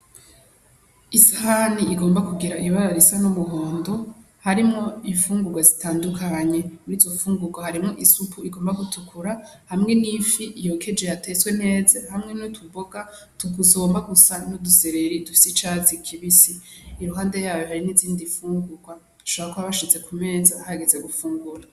Isahani igomba kugira ibara risa n'umuhondo harimwo ifungurwa zitandukanye murizo fungurwa harimwo isupu igomba gutukura hamwe n'ifi yokeje yateswe neza hamwe n'utuboga tugomba gusa n'udusereri dusa n'icatsi kibisi iruhande yayo hari n'izindi fungurwa bashobora kuba bashize kumenza hageze gufungura.